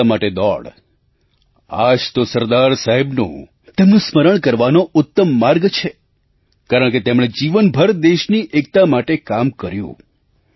એકતા માટે દોડ આ જ તો સરદાર સાહેબનું તેમનું સ્મરણ કરવાનો ઉત્તમ માર્ગ છે કારણકે તેમણે જીવનભર દેશની એકતા માટે કામ કર્યું